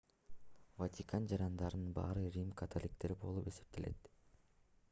ватикан жарандарынын баары рим католиктери болуп эсептелет